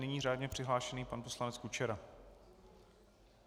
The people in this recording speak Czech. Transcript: Nyní řádně přihlášený pan poslanec Kučera.